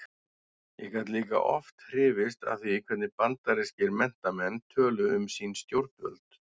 Ég gat líka oft hrifist af því hvernig bandarískir menntamenn töluðu um sín stjórnvöld.